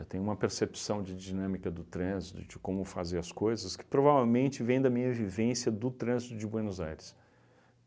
Eu tenho uma percepção de dinâmica do trânsito, de como fazer as coisas, que provavelmente vem da minha vivência do trânsito de Buenos Aires.